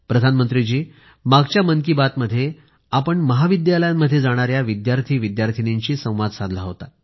प्रधानमंत्रीजी मागच्या मन की बातमध्ये आपण महाविद्यालयामध्ये जाणाऱ्या विद्यार्थीविद्यार्थिनींशी संवाद साधला होता